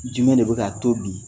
Jumɛn de bɛ na to bi